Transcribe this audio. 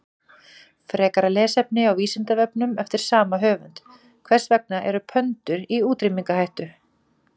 Frekara lesefni á Vísindavefnum eftir sama höfund: Hvers vegna eru pöndur í útrýmingarhættu?